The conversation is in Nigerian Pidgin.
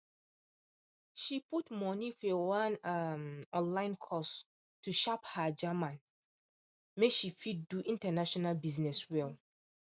she put money for one um online course to sharp her german make she fit do international business well